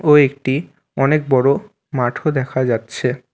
ও একটি অনেক বড় মাঠও দেখা যাচ্ছে।